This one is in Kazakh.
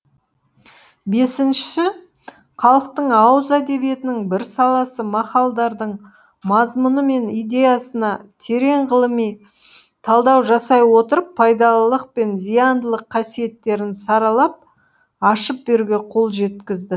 бесінші халықтың ауыз әдебиетінің бір саласы мақалдардың мазмұны мен идеясына терең ғылыми талдау жасай отырып пайдалылық пен зияндылық қасиеттерін саралап ашып беруге қол жеткізді